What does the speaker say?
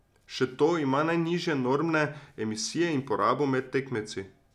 Še to, ima najnižje normne emisije in porabo med tekmci.